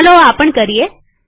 ચાલો આ પણ જોઈએ